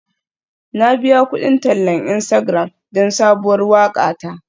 Na biya kudin tallan Instagram don sabuwar waƙa ta.